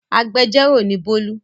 Agbẹjọ́rò ni Bólú.